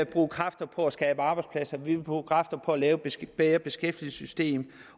bruge kræfter på at skabe arbejdspladser vi vil bruge kræfter på at lave et bedre beskæftigelsessystem